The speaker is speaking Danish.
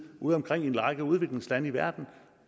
udeomkring i en række udviklingslande i verden